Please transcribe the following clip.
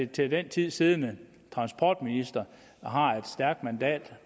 til den tid siddende transportminister der har et stærkt mandat